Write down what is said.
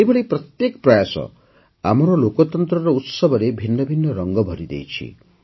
ଏହିଭଳି ପ୍ରତ୍ୟେକ ପ୍ରୟାସ ଆମର ଲୋକତନ୍ତ୍ରର ଉତ୍ସବରେ ଭିନ୍ନ ଭିନ୍ନ ରଙ୍ଗ ଭରିଦେଉଛି